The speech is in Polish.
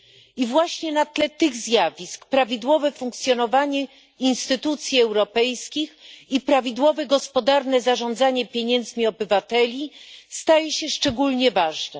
I właśnie na tle tych zjawisk prawidłowe funkcjonowanie instytucji europejskich i prawidłowe gospodarne zarządzanie pieniędzmi obywateli staje się szczególnie ważne.